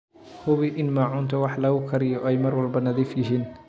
Hubi in maacuunta wax lagu kariyo ay mar walba nadiif yihiin.